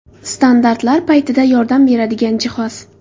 Standartlar paytida yordam beradigan jihoz.